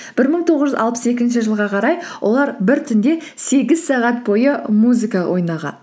бір мың тоғыз жүз алпыс екінші жылға қарай олар бір түнде сегіз сағат бойы музыка ойнаған